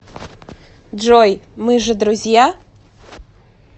джой мы же друзья